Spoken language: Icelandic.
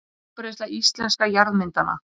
Útbreiðsla íslenskra jarðmyndana.